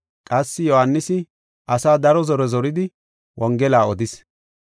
Qassi Yohaanisi asaa daro zore zoridi Wongela odis.